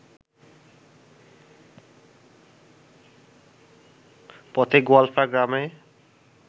পথে গোয়ালফাগ্রামে